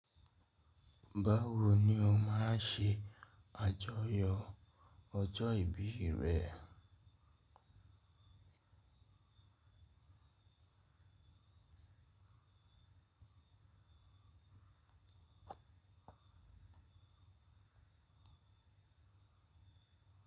Báwoni o máa ṣe àjọyọ̀ ọjọ́ ìbí rẹ?